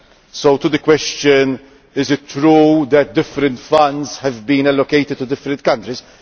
As to the question is it true that different funds have been allocated to different countries?